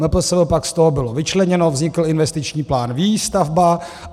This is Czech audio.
MPSV pak z toho bylo vyčleněno, vznikl investiční plán Výstavba.